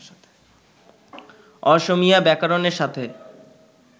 অসমীয়া ব্যাকরণের সাথে